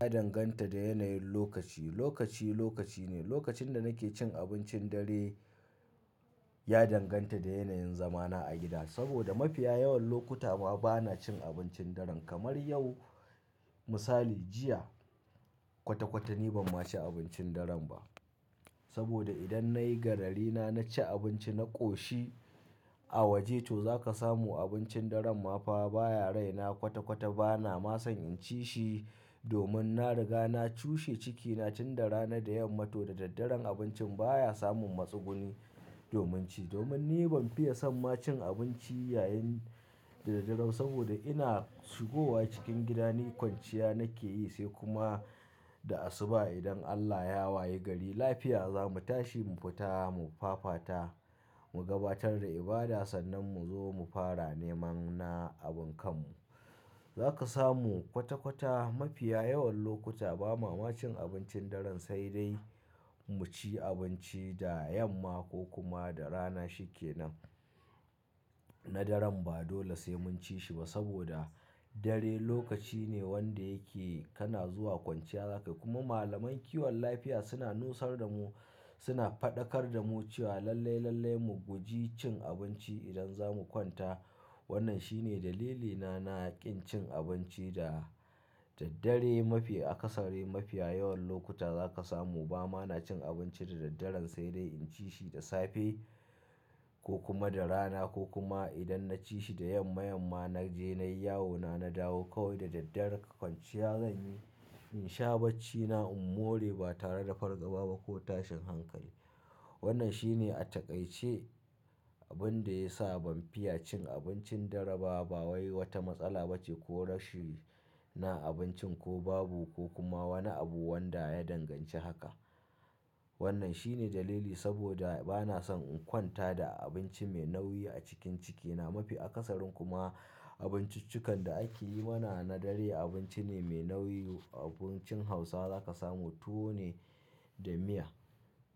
Ya danganta da yanayin lokaci. Lokaci, lokaci ne. Lokacin da nake cin abincin dare ya danganta da yanayin zamana a gida. Saboda mafiya yawan lokuta ma bana cin abincin daren. Kamar yau misali, jiya kwata-kwata ni ban ma ci abincin daren ba. Saboda idan nayi gararina na ci abinci na ƙoshi a waje to za ka samu abincin dare ma fa baya raina kwata-kwata bana ma son in ci shi domin na riga na cushe cikina tun da rana. Da yamma to da daddare abincin baya samun matsuguni domin ci. Domin ni ban fiya son ma cin abinci yayin da daddare saboda ina shigowa cikin gida, ni kwanciya nake yi sai kuma da asuba idan Allah ya waye gari lafiya za mu tashi mu fita mu fafata mu gabatar da ibada sannan mu zo mu fara neman na abin kanmu. Za ka samu kwata-kwata mafiya yawan lokuta ba ma ma cin abincin daren sai dai mu ci abinci da yamma ko kuma da rana shi ke nan. Na daren ba dole sai mun ci shi ba saboda dare lokaci ne wanda yake kana zuwa kwanciya za ka yi. Kuma malamai kiwon lafiya suna nusar da mu suna faɗakar da mu cewa lallai, lallai mu guji cin abinci idan za mu kwanta. Wannan shine dalilina na kin cin abinci da daddare mafi akasari. Mafiya yawan lokuta za ka samu ba ma na cin abinci da daddare sai dai in ci shi da safe ko kuma da rana ko kuma idan na ci shi da yamma, yamma na je nayi yawona na dawo kawai da dare kwanciya zan yi. In sha baccina, in more ba tare da fargaba ba ko tashin hankali. Wannan shi ne a takaice abin da ya sa ban fiya cin abincin dare ba. Ba wae wata matsala bace ko rashin na abincin ko babu ko kuma wani abu wanda ya danganci haka. Wannan shi ne dalili saboda bana son in kwanta da abinci mai nauyi a cikin cikina mafi akasarin kuma abinciccikan da ake yi mana na dare abinci ne mai nauyi. Abincin Hausawa za ka samu tuwo ne da miya